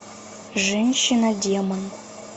женщина демон